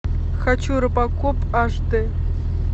хочу робокоп аш д